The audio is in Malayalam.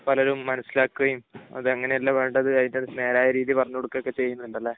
പലരും മനസ്സിലാക്കുകയും, അത് അങ്ങനെയല്ല വേണ്ടത്, അതിന്റെ നേരായ രീതി പറഞ്ഞുകൊടുക്കുകയും ഒക്കെ ചെയ്യുന്നുണ്ട് അല്ലെ?